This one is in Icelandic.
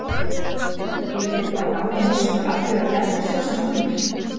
Eru þeir uppá náð og miskunn Alþjóðagjaldeyrissjóðsins komnir?